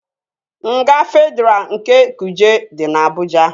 Nga Fedraa nke Kuje dị na Abụja